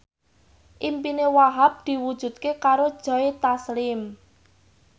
impine Wahhab diwujudke karo Joe Taslim